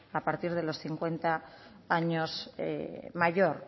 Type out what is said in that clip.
a partir de los cincuenta años mayor